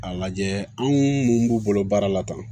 A lajɛ anw mun b'u bolo baara la tan